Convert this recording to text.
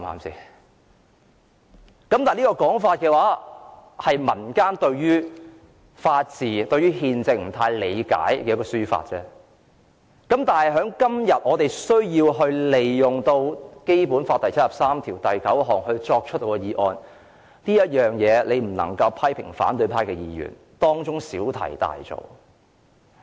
這個說法是民間對於法治、憲政不太理解的情況下提出的，但今天我們根據《基本法》第七十三條第九項提出議案，建制派不能批評反對派議員小題大作。